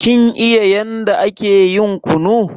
Kin iya yanda ake yin kunu?